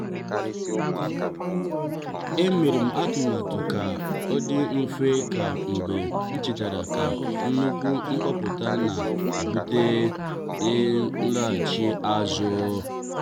e merem atụmatụ ka ọ dị mfe taa mgbe nchetara na nnukwu mpuputa na-ebute laghachi azụ.